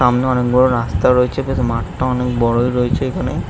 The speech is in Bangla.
সামনে অনেক বড় রাস্তা রয়েছে | বেশ মাঠটা অনেক বড়ই রয়েছে।